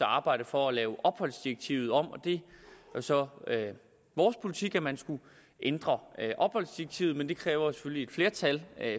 arbejde for at lave opholdsdirektivet om og det er jo så vores politik at man skal ændre opholdsdirektivet men det kræver selvfølgelig et flertal